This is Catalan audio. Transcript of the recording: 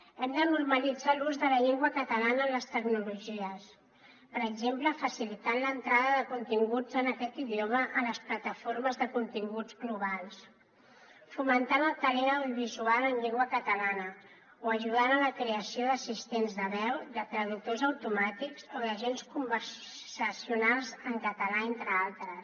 hem de normalitzar l’ús de la llengua catalana en les tecnologies per exemple facilitant l’entrada de continguts en aquest idioma a les plataformes de continguts globals fomentant el talent audiovisual en llengua catalana o ajudant en la creació d’assistents de veu de traductors automàtics o d’agents conversacionals en català en tre altres